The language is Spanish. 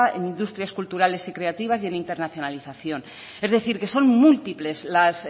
en industrias culturales y creativas y en internacionalización es decir que son múltiples las